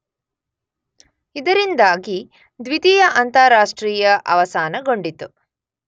ಇದರಿಂದಾಗಿ ದ್ವಿತೀಯ ಅಂತಾರಾಷ್ಟ್ರೀಯ ಅವಸಾನಗೊಂಡಿತು.